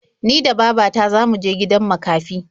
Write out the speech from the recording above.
Ni da baba ta za mu je gidan makafi.